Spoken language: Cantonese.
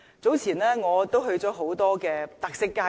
早前，我去過很多特色街道。